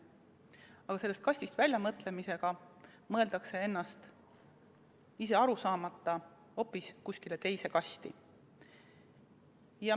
Aga sellest kastist väljapoole mõtlemisega mõeldakse ennast, ise sellest aru saamata, hoopis kuskile teise kasti.